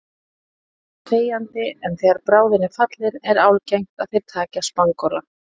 Þeir veiða þegjandi en þegar bráðin er fallin er algengt að þeir taki að spangóla.